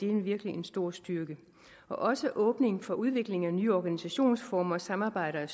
er virkelig en stor styrke også åbningen for udvikling af nye organisationsformer og samarbejder er